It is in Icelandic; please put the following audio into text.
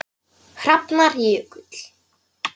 Hrafnar Jökull.